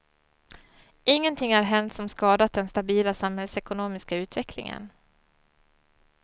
Ingenting har hänt som skadat den stabila samhällsekonomiska utvecklingen.